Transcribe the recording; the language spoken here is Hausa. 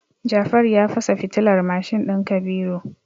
Jafaru ya fasa fitilar mashin din Kabiru.